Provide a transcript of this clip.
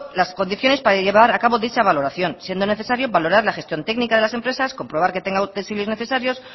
las condiciones para llevar a cabo dicha valoración siendo necesario valorar la gestión técnica de las empresas comprobar que tenga utensilios necesarios